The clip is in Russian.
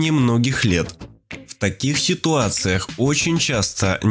и многих лет в таких ситуациях очень часто